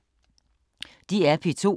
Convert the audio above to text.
DR P2